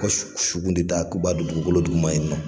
Ko de da k'u b'a don dugukolo duguma yen nɔ